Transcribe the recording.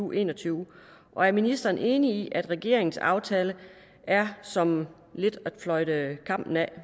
og en og tyve og er ministeren enig i at regeringens aftale er som at fløjte kampen af